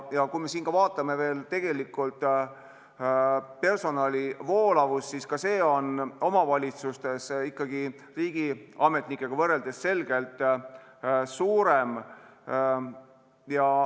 Ja kui me vaatame siin veel personali voolavust, siis ka see on omavalitsustes selgelt suurem.